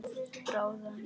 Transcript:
Bráðnar hann í munni?